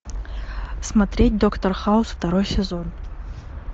смотреть доктор хаус второй сезон